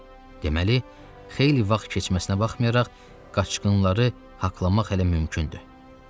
Deməli, xeyli vaxt keçməsinə baxmayaraq qaçqınları haqqlamaq hələ mümkündür.